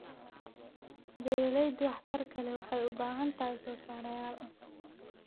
Beerashada waxtarka leh waxay u baahan tahay soosaarayaal.